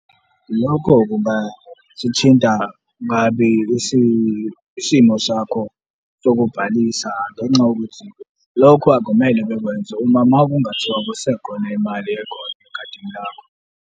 Lokho kungasithinta kabi isimo sakho sokubhalisa ngenxa yokuthi lokhu akumele bekwenze uma, uma kungathiwa kusekhona imali ekhona ekhadini lakho.